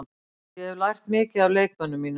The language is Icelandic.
Ég hef lært mikið af leikmönnunum mínum.